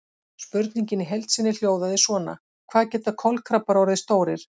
Spurningin í heild sinni hljóðaði svona: Hvað geta kolkrabbar orðið stórir?